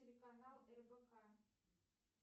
телеканал рбк